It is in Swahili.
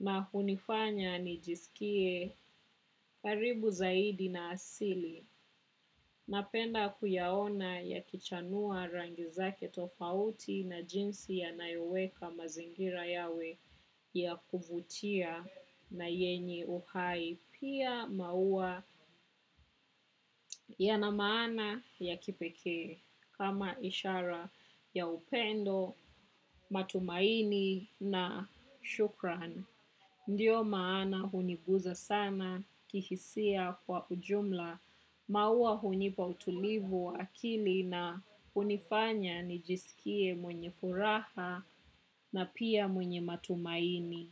na hunifanya nijisikie karibu zaidi na asili napenda kuyaona yakichanua rangi zake tofauti na jinsi ya nayoweka mazingira yawe ya kuvutia na yenye uhai. Pia maua yana maana ya kipekee kama ishara ya upendo, matumaini na shukran. Ndiyo maana huniguza sana kihisia kwa ujumla. Maua hunipa utulivu wa akili na hunifanya nijisikie mwenye furaha na pia mwenye matumaini.